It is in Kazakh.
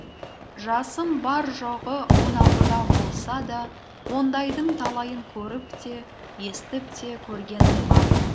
жасым бар жоғы он алтыда болса да ондайдың талайын көріп те естіп те көргенім бар